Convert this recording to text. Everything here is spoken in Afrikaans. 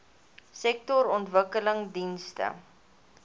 sektorontwikkelingdienste